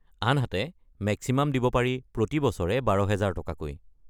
আনহাতে মেক্সিমাম দিব পাৰি প্ৰতি বছৰে ১২,০০০ টকাকৈ।